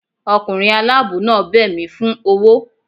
Ọkunrin alabọ naa bẹ mí fun ọwọ